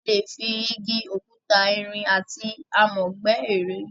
A lè fi Igi, òkúta, irin, àti amọ̀ gbẹ́ ère.